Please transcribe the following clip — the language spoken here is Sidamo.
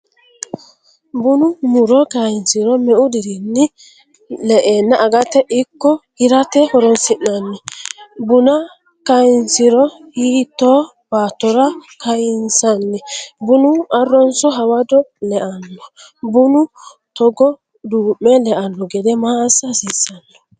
bunu muro kaynsiro meu dirinni le"enna agate ikko hirate horonsi'nanni? Buna kayinsro hitto baattora kayinsanni? bunu arronso hawado leanno? bunu togo duu'me leanno gede ma assa hasiissanno?